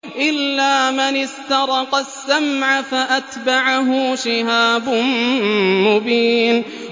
إِلَّا مَنِ اسْتَرَقَ السَّمْعَ فَأَتْبَعَهُ شِهَابٌ مُّبِينٌ